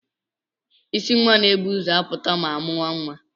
Isi nwa na-ebu ụzọ apụta ma amụea nwa.